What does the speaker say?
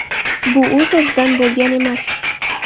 Bu o‘z-o‘zidan bo‘lgan emas.